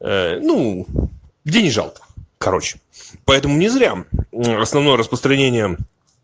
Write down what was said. ну где не жалко короче поэтому не зря основное распространение